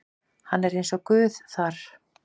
Hann er eins og Guð þar.